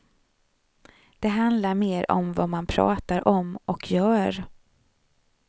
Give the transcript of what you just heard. Det handlar mer om vad man pratar om och gör.